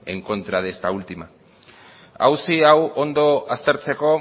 en contra de esta última auzi hau ondo aztertzeko